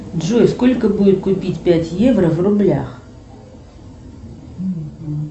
джой сколько будет купить пять евро в рублях